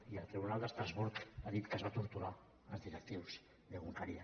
i el tribunal d’estrasburg ha dit que es va torturar els directius d’egunkaria